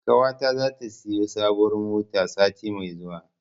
Ƙawata zata siyo sabuwar mota sati mai zuwa.